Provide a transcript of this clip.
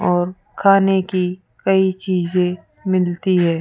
और खाने की कई चीजे मिलती है।